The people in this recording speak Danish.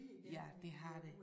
Ja det har der